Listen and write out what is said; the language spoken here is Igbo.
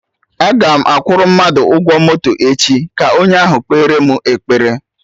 Agam akwụrụ mmadụ ụgwọ moto echi, ka onye ahụ kpere mụ ekpere